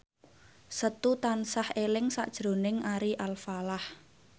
Setu tansah eling sakjroning Ari Alfalah